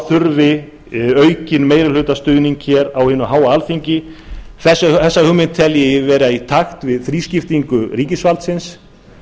þurfi aukinn meirihlutastuðning á hinu háa alþingi þessa aðferð tel ég vera í takt við þrískiptingu ríkisvaldsins